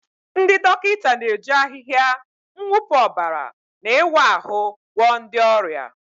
Ndị dọkịta na-eji ahịhịa, mwụpụ ọbara, na ịwa ahụ́ gwọọ ndị ọrịa.